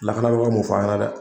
Lakanabagaw m'o fɔ an ɲɛna dɛ